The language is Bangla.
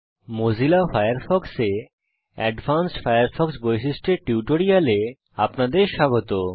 মোজিলা ফায়ারফক্সে অ্যাডভান্সড উন্নত ফায়ারফক্স বৈশিষ্ট্য এর টিউটোরিয়ালে আপনাদের স্বাগত